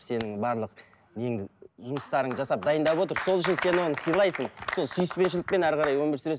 сенің барлық неңді жұмыстарыңды жасап дайындап отыр сол үшін сен оны сыйлайсың сол сүйіспеншілікпен әрі қарай өмір сүресің